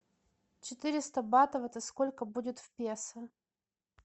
четыреста батов это сколько будет в песо